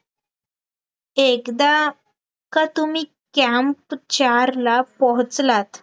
ते एकदा का तुम्ही camp चार ला पोहोचलात